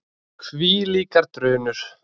Og hvílíkar drunur!